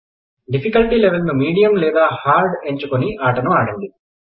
difficulty level ను medium లేదా hard ఎంచుకొని ఆటను ఆడండి